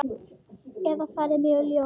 Eða fara með ljóð.